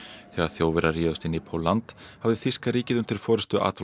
þegar Þjóðverjar réðust inn í Pólland hafði þýska ríkið undir forystu